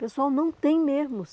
Pessoal, não tem mesmo.